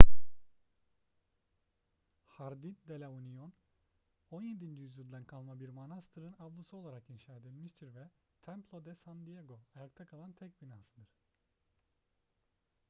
jardín de la unión 17. yüzyıldan kalma bir manastırın avlusu olarak inşa edilmiştir ve templo de san diego ayakta kalan tek binasıdır